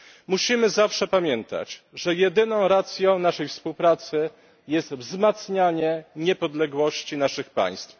Musimy zawsze pamiętać, że jedyną racją naszej współpracy jest wzmacnianie niepodległości naszych państw.